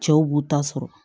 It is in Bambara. Cɛw b'u ta sɔrɔ